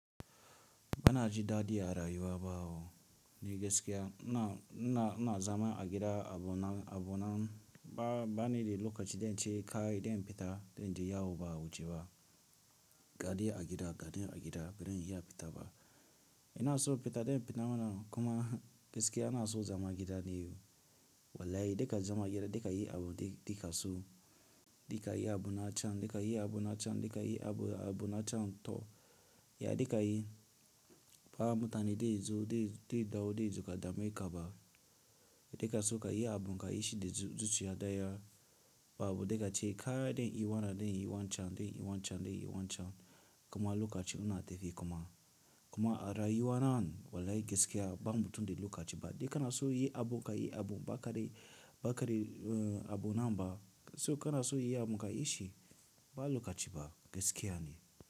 Bana ji daɗi a rayuwa ba o, ni gaskiya. Ina, ina, ina zaman a gida abu na, abu nan ba, ba ni lokaci don ce kaɗai don fita don je yawo ba wuce ba. Gaɗi a gida, gaɗi a gida, bai iya fita ba. Ina so fita don fita mana kuma gaskiya ina so zama gida ne. Wallahi da ka zama gida da ka yi abu dikaso, da ka yi abu na can, da ka yi abu na can, da ka yi abu, abu na can to, ya de ka yi ba mutane dai zu, dai, dai dawo dai zu ka damai kaba. Da kaso ka yi abu ka yi shi da zuciya daya babu da ka ce kai don i wannan don yi wancan don yi wan can don yi wancan kuma lokacin ina tafi kuma. Kuma a rayuwa nan wallahi gaskiya ba mutum da lokaci ba. Da kana so yi abu ka yi abu ba ka dai, ba ka dai abu nan ba. So kana so yi abu ka yi shi, ba lokaci ba gaskiya ne.